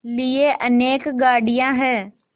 लिए अनेक गाड़ियाँ हैं